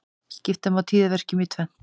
Skipta má tíðaverkjum í tvennt.